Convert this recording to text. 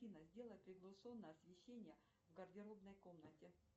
афина сделай приглушенно освещение в гардеробной комнате